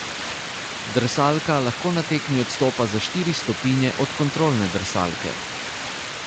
Drsalka lahko na tekmi odstopa za štiri stopinje od kontrolne drsalke.